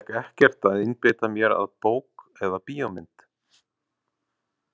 Mér gekk ekkert að einbeita mér að bók eða bíómynd.